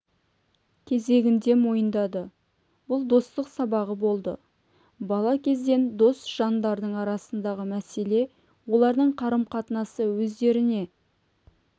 кезегінде мойындады бұл достық сабағы болды бала кезден дос жандардың арасындағы мәселе олардың қарым-қатынасы өздеріне